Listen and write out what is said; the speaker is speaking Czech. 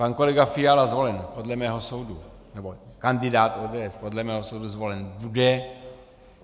Pan kolega Fiala zvolen podle mého soudu, nebo kandidát ODS podle mého soudu zvolen bude.